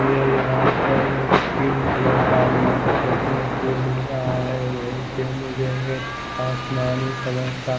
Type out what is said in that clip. मुझे यहाँ पर एक पिंक कलर का मैट देखने को मिल रहा है वही पर मुझे एक आसमानी कलर का --